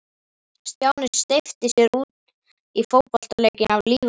Stjáni steypti sér út í fótboltaleikinn af lífi og sál.